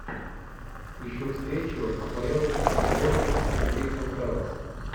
ищу встречу апл борнмут и кристал пэлас